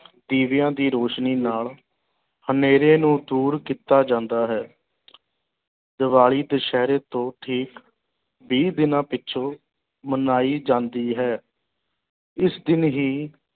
ਦੀਵਿਆਂ ਦੀ ਰੋਸ਼ਨੀ ਨਾਲ ਹਨੇਰੇ ਨੂੰ ਦੂਰ ਕੀਤਾ ਜਾਂਦਾ ਹੈ ਦੀਵਾਲੀ ਦੁਸ਼ਹਿਰੇ ਤੋਂ ਠੀਕ ਵੀਹ ਦਿਨਾਂ ਪਿੱਛੋਂ ਮਨਾਈ ਜਾਂਦੀ ਹੈ ਇਸ ਦਿਨ ਹੀ